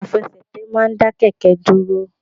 Àfẹsẹ̀tẹ̀ ma n da kẹkẹ dúrò